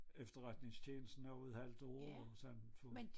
Efterretningstjenesten og et halvt år og sådan